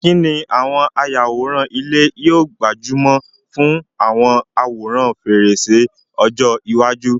Kí ni àwọn ayàwòrán ilé yóò gbájú mọ́ fún àwọn àwòrán fèrèsé ọjọ́ iwájú?